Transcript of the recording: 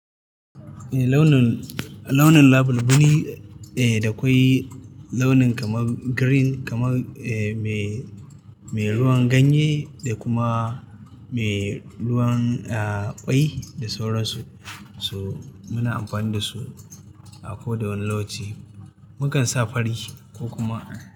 Ei launin, launin label biri eh da kwai launin kamar green kamar ei mai, mai ruwan ganye da kuma mai ruwan a kwai da sauransu. Toh muna amfani da su a koda wani lauci. Mukan sa fari ko kuma.